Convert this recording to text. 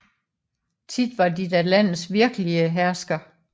Tit var de da landets virkelige hersker